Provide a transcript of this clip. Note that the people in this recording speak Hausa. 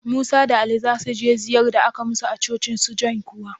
Musa da Ali za su je ziyar da aka yi musu a cocin su John kuwa?